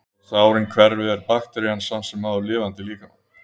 Þótt sárin hverfi er bakterían samt sem áður lifandi í líkamanum.